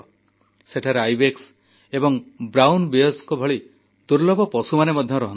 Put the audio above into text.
ସେଠାରେ ଆଇବେକ୍ସ ଏବଂ ବ୍ରାଉନ ବିୟରଙ୍କ ଭଳି ଦୁର୍ଲଭ ପଶୁମାନେ ମଧ୍ୟ ରହନ୍ତି